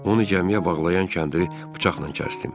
Onu gəmiyə bağlayan kəndiri bıçaqla kəsdim.